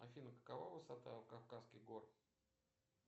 афина какова высота кавказских гор